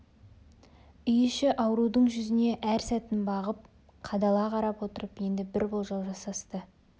үй іші аурудың жүзіне әр сәтін бағып қадала қарап отырып енді бір болжау жасасты